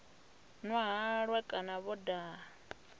nwa halwa kana vho daha